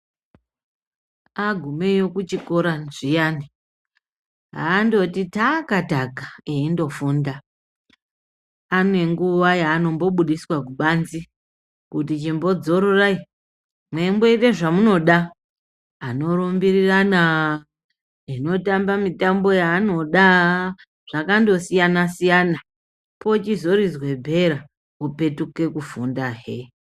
Agumeyo kuchikora zviyani andoti takataka eindofunda. Ange nguwa yaanobudiswa kubanze kuti imbodzororai mweimnoita zvamunoda anorumbirirana anotamba mitambo yaanoda zvakandosiyana siyana .Pochizoridzwa bhera vopetuka kufundahe.